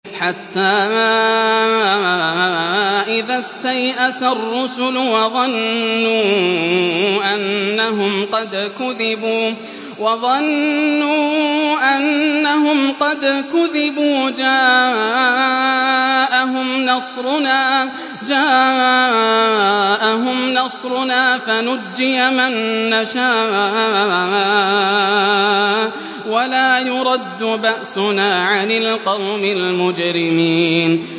حَتَّىٰ إِذَا اسْتَيْأَسَ الرُّسُلُ وَظَنُّوا أَنَّهُمْ قَدْ كُذِبُوا جَاءَهُمْ نَصْرُنَا فَنُجِّيَ مَن نَّشَاءُ ۖ وَلَا يُرَدُّ بَأْسُنَا عَنِ الْقَوْمِ الْمُجْرِمِينَ